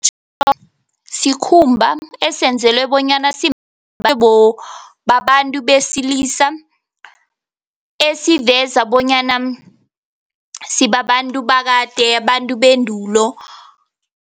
Sikhumba esenzelwe bonyana babantu besilisa, esiveza bonyana sibabantu bakade, abantu bendulo.